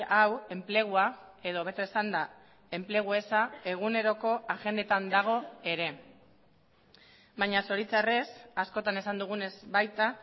hau enplegua edo hobeto esanda enplegu eza eguneroko agendetan dago ere baina zoritzarrez askotan esan dugunez baita